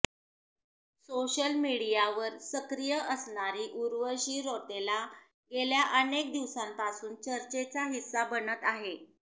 social मीडियावर सक्रिय असणारी उर्वशी रौतेला गेल्या अनेक दिवसांपासून चर्चेचा हिस्सा बनत आहे